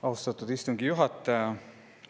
Austatud istungi juhataja!